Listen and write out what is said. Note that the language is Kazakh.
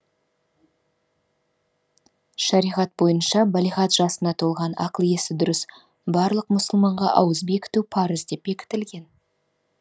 шариғат бойынша балиғат жасына толған ақыл есі дұрыс барлық мұсылманға ауыз бекіту парыз деп бекітіліген